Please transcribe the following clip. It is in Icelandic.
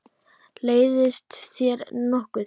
Leiðist þér nokkuð?